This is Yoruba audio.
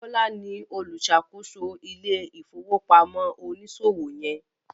Bola ní oluṣakoso ile-ifowopamọ oniṣòwo yen.